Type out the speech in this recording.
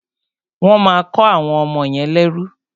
Wọ́n máa kọ́ àwọn ọmọ yẹn lẹ́rú.